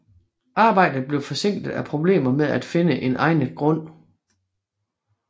Arbejdet blev forsinket af problemer med at finde en egnet grund